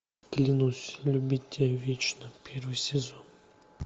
клянусь любить тебя вечно первый сезон